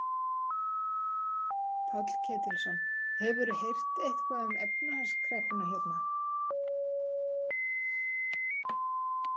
Páll Ketilsson: Hefurðu heyrt eitthvað um efnahagskreppuna hérna?